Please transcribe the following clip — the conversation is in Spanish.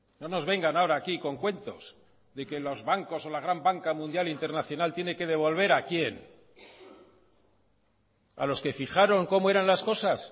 no nos vengan ahora aquí con cuentos de que los bancos o la gran banca mundial internacional tiene que devolver a quién a los que fijaron cómo eran las cosas